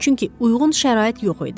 Çünki uyğun şərait yox idi.